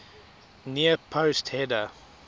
near post header